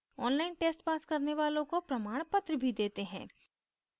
online test pass करने वालों को प्रमाणपत्र भी देते हैं